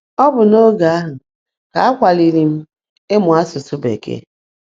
Ọ bụ n’oge ahụ ka a kwaliri m ịmụ asụsụ Bekee.